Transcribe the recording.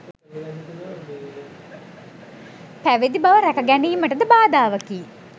පැවිදි බව රැක ගැනීමටද බාධාවකි.